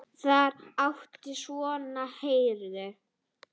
Þar áttu svona herðar heima.